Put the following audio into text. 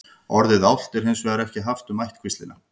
orðið álft er hins vegar ekki haft um ættkvíslina